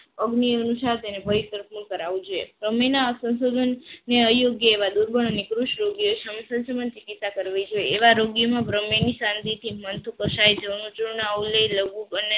અગ્નિ અનુસાર તેને કરાવવું જોઈએ પ્રમેયના સંશોધનને અયોગ્ય એવા દૂરવા અને કૃષિ યોગ્ય સંશોધન ચિકિત્સા કરવી જોઈએ એવા રોગીમાં પ્રમેયને શાંતિથી મળતું ચૂર્ણ લેવું